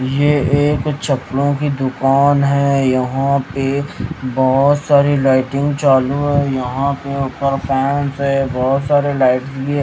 यह एक चप्पड़ों की दुकान है यहां पे बहुत सारी लाइटिंग चालू है यहां पे आपका फैंस है बहुत सारे लाइट --